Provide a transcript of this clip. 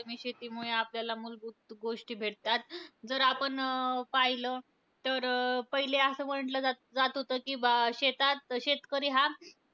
शेतीमुळे आपल्याला मुलभूत गोष्टी भेटतात. जर आपण अं पाहिलं तर, पहिले असं म्हणलं जात जात होतं की, शेतात शेतकरी हा,